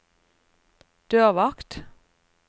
dørvakt